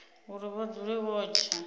uri vha dzule vho tsha